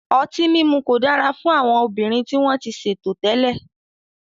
Ọtí mímu kò dára fún àwọn obìnrin tí wọ́n ti ṣètò tẹ́lẹ̀.